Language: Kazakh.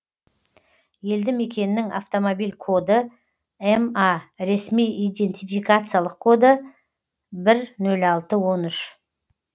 елді мекеннің автомобиль коды ма ресми идентификациялық коды бір нөл алты он үш